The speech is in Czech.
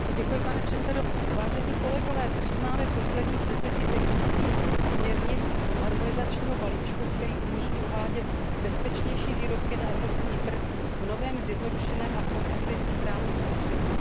Vážený pane předsedající, přijímáme poslední z deseti technických směrnic harmonizačního balíčku, který umožní uvádět bezpečnější výrobky na evropský trh v novém, zjednodušeném a konzistentním právním prostředí.